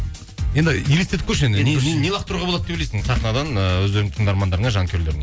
енді елестетіп көрші енді лақтыруға болады деп ойлайсың сахнадан ыыы өздерінің тыңдармандарыңа жанкүйерлеріңе